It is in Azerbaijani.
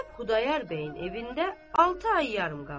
Zeynəb Xudayar bəyin evində altı ay yarım qaldı.